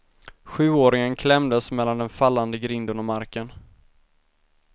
Sjuåringen klämdes mellan den fallande grinden och marken.